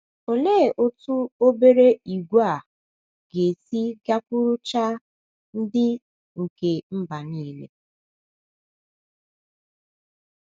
Olee otú obere ìgwè a ga - esi gakwuruchaa “ ndị nke mba nile ”?